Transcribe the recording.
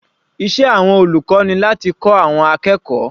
Iṣẹ́ àwọn olùkọ́ ni láti kọ́ àwọn akẹ́kọ̀ọ́.